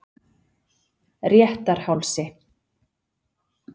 Réttarhálsi